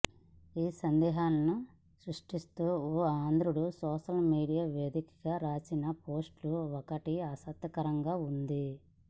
ఈ సందేహాలను సృశిస్తూ ఓ ఆంధ్రుడు సోషల్ మీడియా వేదికగా రాసిన పోస్ట్ ఒకటి ఆసక్తికరంగా ఉంది